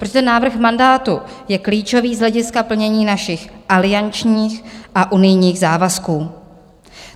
Protože ten návrh mandátu je klíčový z hlediska plnění našich aliančních a unijních závazků.